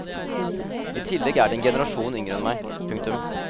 I tillegg er de en generasjon yngre enn meg. punktum